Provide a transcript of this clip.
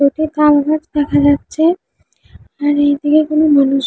একটি কালভার্ট দেখা যাচ্ছে আর এইদিকে কোনো মানুষ --